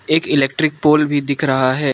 एक electric pole भी दिख रहा है।